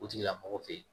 O tigilamɔgɔ fɛ yen